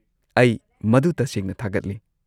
ꯑꯩ ꯃꯗꯨ ꯇꯁꯦꯡꯅ ꯊꯥꯒꯠꯂꯤ꯫